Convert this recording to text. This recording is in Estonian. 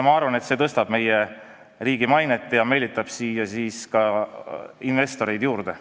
Ma arvan, et see tõstab meie riigi mainet ja meelitab siia ka investoreid juurde.